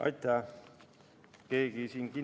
Aitäh!